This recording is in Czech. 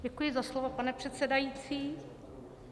Děkuji za slovo, pane předsedající.